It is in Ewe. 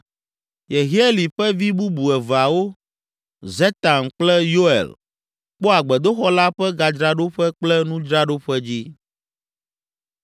Yehieli ƒe vi bubu eveawo, Zetam kple Yoel, kpɔa gbedoxɔ la ƒe gadzraɖoƒe kple nudzraɖoƒe dzi.